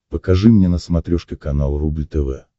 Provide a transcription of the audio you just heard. покажи мне на смотрешке канал рубль тв